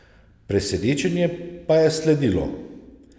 Presenečenje pa je sledilo.